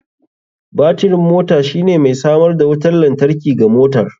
Batirin mota shine mai samar da wutar lantarki ga motar.